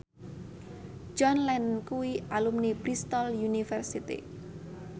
John Lennon kuwi alumni Bristol university